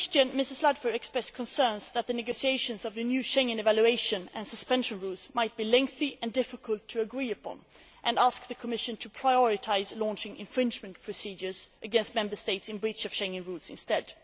In the question, Ms Ludford expressed concerns that the negotiations on the new Schengen evaluation and suspension rules might be lengthy and difficult to agree upon and asked the Commission to prioritise launching infringement procedures against Member States in breach of Schengen rules instead.